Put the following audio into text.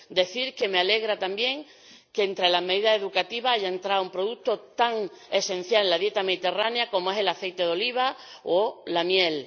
Qusiera decir que me alegra también que entre las medidas educativas haya entrado un producto tan esencial en la dieta mediterránea como es el aceite de oliva o la miel.